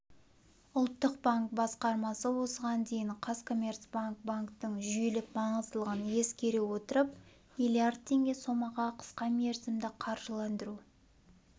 ұлттық банк басқармасы осыған дейін қазкоммерцбанк банктің жүйелік маңыздылығын ескере отырып миллиард теңге сомаға қысқамерзімді қаржыландыру